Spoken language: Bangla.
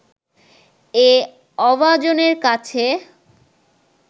এ অভাজনের কাছে